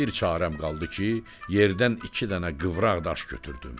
Bir çaram qaldı ki, yerdən iki dənə qıvraq daş götürdüm.